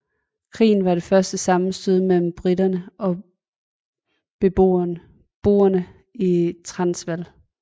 Krigen var det første sammenstød mellem briterne og boerne i Transvaal